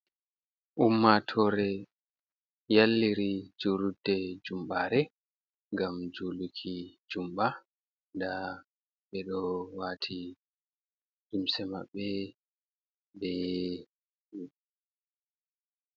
Ummatore yalliri jurulde jumɓare gam juluki jumɓa da ɓe do wati limse maɓɓe.